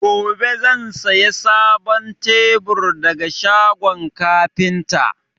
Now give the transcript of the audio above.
Gobe zan saya sabon tebur daga shagon kafinta